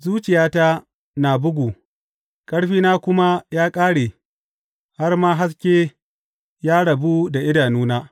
Zuciyata na bugu, ƙarfina kuma ya ƙare, har ma haske ya rabu da idanuna.